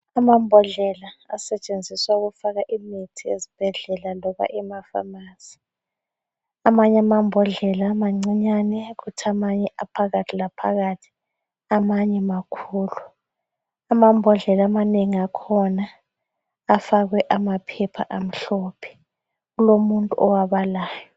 Amambodlela asetshenziswa ukufaka imithi ezibhedlela loba emafamasi. Amany' amambodlela mancinyane, kuth' amanye aphakathi laphakathi, amanye makhulu. Amambodlela amanengi akhona afakwe amaphepha amhlophe. Kulomuntu owabalayo.